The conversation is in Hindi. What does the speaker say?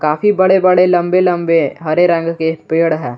काफी बड़े बड़े लंबे लंबे हरे रंग के पेड़ है।